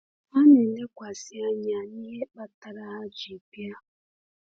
Ha na-elekwasị anya na ihe kpatara ha ji bịa.